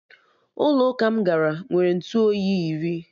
Ụlọ ụka m gara nwere Ntụ oyi iri